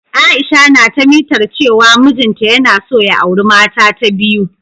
Aisha na ta mitar cewa mijin ta yana so ya auri mata ta biyu.